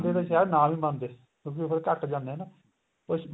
ਤਾਂ ਸ਼ਾਇਦ ਨਾ ਵੀ ਮੰਨਦੇ ਕਿਉਂਕਿ ਉਹ ਘੱਟ ਜਾਨੇ ਆ ਨਾ ਕੁੱਝ